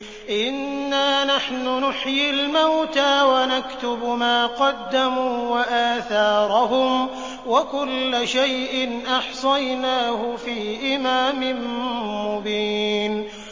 إِنَّا نَحْنُ نُحْيِي الْمَوْتَىٰ وَنَكْتُبُ مَا قَدَّمُوا وَآثَارَهُمْ ۚ وَكُلَّ شَيْءٍ أَحْصَيْنَاهُ فِي إِمَامٍ مُّبِينٍ